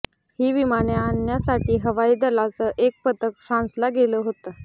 ही विमाने आणण्यासाठी हवाई दलाचं एक पथक फ्रान्सला गेलं होतं